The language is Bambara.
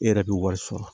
E yɛrɛ bɛ wari sɔrɔ